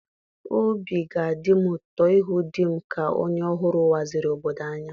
Obi ga-adị m ụtọ ịhụ di m ka onye ọhụrụ waziri obodo anyị.